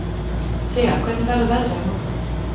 Thea, hvernig verður veðrið á morgun?